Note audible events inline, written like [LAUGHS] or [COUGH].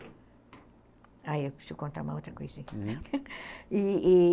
Ah, eu preciso contar uma outra coisinha, [LAUGHS] uhum, e e